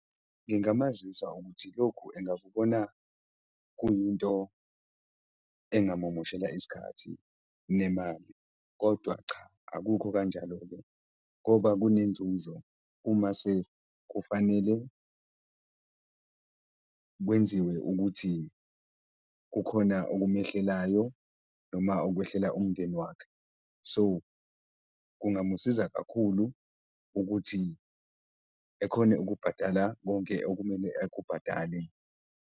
Ngingamazisa ukuthi lokhu engakubona kuyinto engamumoshela isikhathi nemali kodwa cha, akukho kanjalo-ke ngoba kunenzuzo uma sekufanele kwenziwe ukuthi kukhona okumehlelayo noma okhwehlela umndeni wakhe, so kungamusiza kakhulu ukuthi ekhone ukubhadala konke okumele ekubhadale.